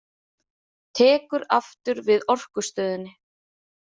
Tekur aftur við Orkustöðinni